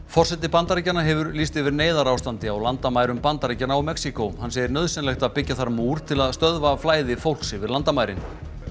forseti Bandaríkjanna hefur lýst yfir neyðarástandi á landamærum Bandaríkjanna og Mexíkó hann segir nauðsynlegt að byggja þar múr til að stöðva flæði fólks yfir landamærin